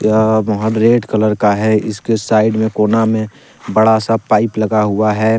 यह महल red colour का है इसके साइड में कोना में बड़ा सा पाइप लगा हुआ है।